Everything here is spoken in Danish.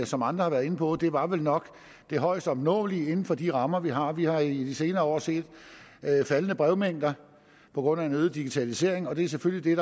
som andre har været inde på var det nok det højest opnåelige inden for de rammer vi har vi har i de senere år set faldende brevmængder på grund af øget digitalisering og det er selvfølgelig